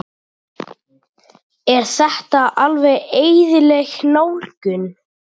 Er þetta alveg eðlileg nálgun?